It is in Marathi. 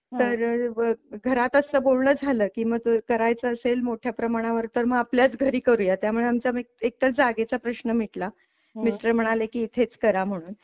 तर घरात असं बोलणं झालं कि मग करायच असेल मोठ्या प्रमाणावर तर मग आपल्याच घरी करूयात. त्यामुळे आमचं आम्ही एक तर जागेचा प्रश्न मिटला मिस्टर म्हणाले की इथेच करा म्हणून.